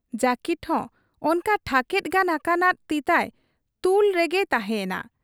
ᱡᱟᱹᱠᱤᱴ ᱦᱚᱸ ᱚᱱᱠᱟ ᱴᱷᱟᱠᱮᱫ ᱜᱟᱱ ᱟᱠᱟᱱᱟᱫᱚ ᱛᱤᱛᱟᱭ ᱛᱩᱞ ᱨᱚᱝᱜᱮ ᱛᱟᱦᱮᱸᱭᱮᱱᱟ ᱾